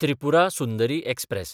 Tripura Sundari express